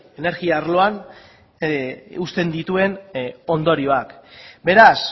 energia arloan uzten dituen ondorioak beraz